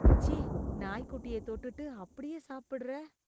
சீ நாய் குட்டிய தொட்டுட்டு அப்டியே சாப்புடுற